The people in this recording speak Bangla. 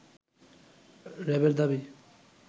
র‌্যাবের দাবি